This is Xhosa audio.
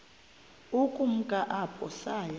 ukumka apho saya